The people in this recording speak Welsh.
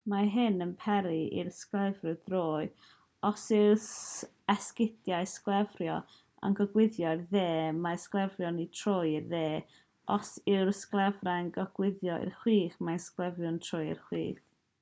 mae hyn yn peri i'r sglefriwr droi os yw'r esgidiau sglefrio yn gogwyddo i'r dde mae'r sglefriwr yn troi i'r dde os yw'r sglefrau'n gogwyddo i'r chwith mae'r sglefriwr yn troi i'r chwith